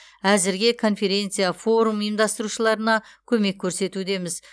әзірге конференция форум ұйымдастырушыларына көмек көрсетудеміз